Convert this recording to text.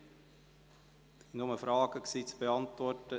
Es gab nur Fragen zu beantworten.